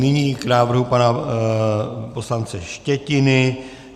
Nyní k návrhu pana poslance Štětiny.